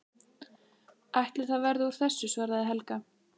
Ætli það verði úr þessu, svaraði Helga.